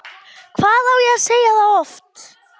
Hvað á ég að segja það oft?!